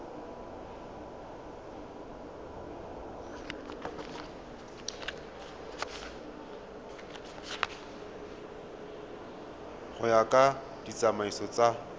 go ya ka ditsamaiso tsa